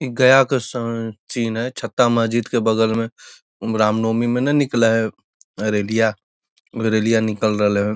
इ गया क स अअ है छत्ता महजिद के बगल में रामनवमी में नाय निकले है रेलिया रेलिया निकल रहले है।